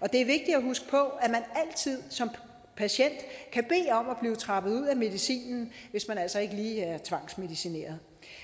og det er vigtigt at huske på at man altid som patient kan bede om at blive trappet ud af medicinen hvis man altså ikke lige er tvangsmedicineret